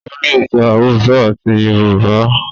o lẹ sọ Hausa àti Yorùbá.